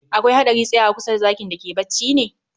Akwai hadari tsayawa kusa da zakin da ke bacci ne?